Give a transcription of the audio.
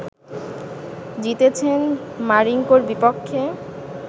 জিতেছেন মারিঙ্কোর বিপক্ষে